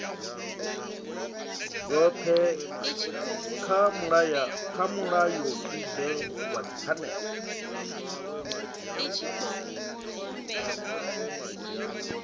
dzothe kha mulayotibe wa dzipfanelo